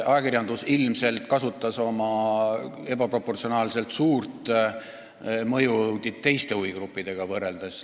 Ajakirjandus ilmselt kasutas oma ebaproportsionaalselt suurt mõju teiste huvigruppidega võrreldes.